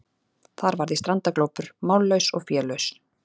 Þar varð ég strandaglópur, mállaus og félaus.